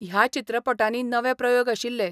ह्या चित्रपटांनी नवे प्रयोग आशिल्ले.